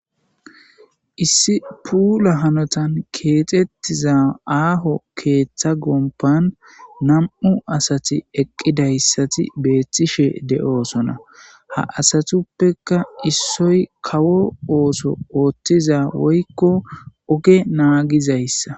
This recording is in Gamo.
Issi puula hanotan keexettiza aaho keeththa gompan nam'u asati eqqidayssati beethtishe de'oosona ha asatuppeka issoy kawo ooso ooththiza woykko oge naagizayssa.